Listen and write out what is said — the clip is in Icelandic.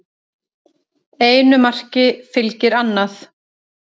Einu marki fylgir annað